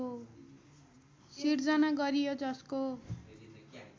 सृजना गरियो जसको